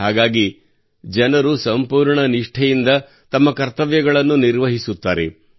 ಹಾಗಾಗಿ ಜನರು ಸಂಪೂರ್ಣ ನಿಷ್ಠೆಯಿಂದ ತಮ್ಮ ಕರ್ತವ್ಯಗಳನ್ನು ನಿರ್ವಹಿಸುತ್ತಾರೆ